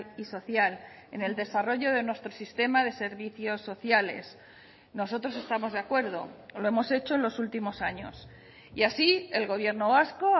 y social en el desarrollo de nuestro sistema de servicios sociales nosotros estamos de acuerdo lo hemos hecho en los últimos años y así el gobierno vasco